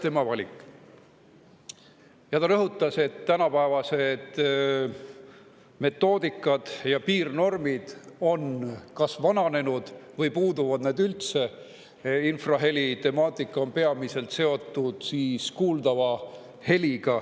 Ta rõhutas, et täna metoodika ja piirnormid on kas vananenud või puuduvad üldse.